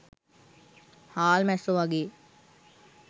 හාල් මැස්සො වගේ